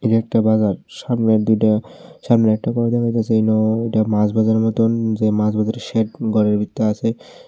এই একটা বাজার সামনের দুইটা সামনে একটা ঘর দেখা গেছে নো ওইটা মাছ বাজার মতন যে মাছ বাজারে সেখ ঘরের ভিত্তর আছে।